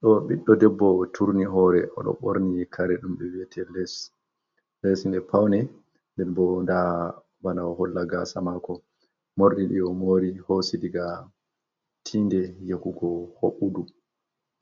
Ɗo ɓiɗɗo debbo, turni hoore, o ɗo ɓorni kare ɗum ɓe wiyete les, les mai pawne, den bo nda bana o holla gaasa maako. Morɗi ɗi o mori hoosi diga tinde yahugo hoɓɓudu